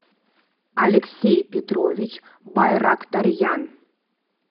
алексей петрович байрактарьян